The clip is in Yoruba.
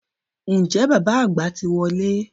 Ǹjẹ́ bàbá àgbà ti wọlé?